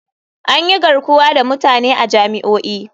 An yi garkuwa da mutane a jami'o'i.